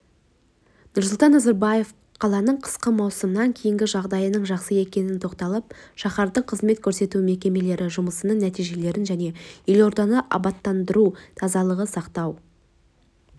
нұрсұлтан назарбаев қаланың қысқы маусымнан кейінгі жағдайының жақсы екеніне тоқталып шаһардың қызмет көрсету мекемелері жұмысының нәтижелерін және елорданы абаттандыру тазалықты сақтау